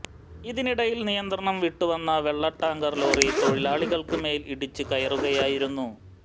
ഇതിനിടയിൽ നിയന്ത്രണം വിട്ടു വന്ന വെള്ള ടാങ്കർ ലോറി തൊഴിലാളികൾക്ക് മേൽ ഇടിച്ചു കയറുകയായിരുന്നു